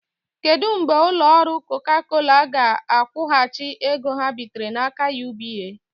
Kedụ mgbe ụlọ ọrụ Coca Cola ga-akwụghachi ego ha bitere n'aka UBA?